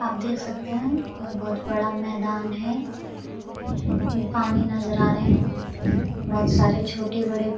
आप देख सकते हैं यह बहुत बड़ा मैदान है पानी नजर आ रहें हैं बहुत सारे छोटे-बड़े --